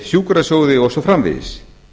sjúkrasjóði og svo framvegis